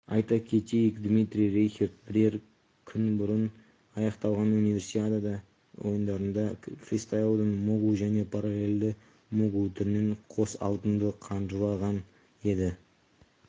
айта кетейік дмитрий рейхерд бірер күн бұрын аяқталған универсиада ойындарында фристайлдың могул және паралллельді могул түрінен қос алтынды қанжығалаған еді